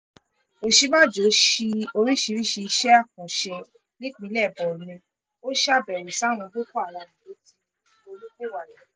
òsínbàjọ sí oríṣiríṣii iṣẹ́ àkànṣe nípínlẹ̀ borno ò ṣàbẹ̀wò sáwọn boko haram tó ti ronúpìwàdà